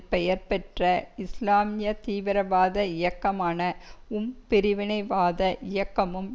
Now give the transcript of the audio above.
பெயர் பெற்ற இஸ்லாமிய தீவீரவாத இயக்கமான உம் பிரிவினைவாத இயக்கமும்